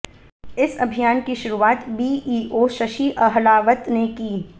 इस अभियान की शुरूआत बीईओ शशि अहलावत ने की